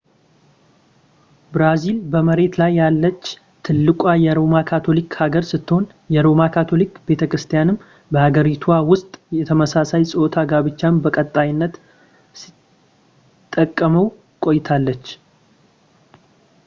ብራዚል በመሬት ላይ ያለች ትልቋ የሮማ ካቶሊክ ሀገር ስትሆን የሮማ ካቶሊክ ቤተክርስቲያንም በሀገሪቷ ውስጥ የተመሳሳይ ፆታ ጋብቻን በቀጣይነት ስትቃወም ቆይታለች